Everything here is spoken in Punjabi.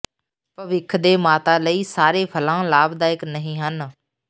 ਭਵਿੱਖ ਦੇ ਮਾਤਾ ਲਈ ਸਾਰੇ ਫਲਾਂ ਲਾਭਦਾਇਕ ਨਹੀਂ ਹਨ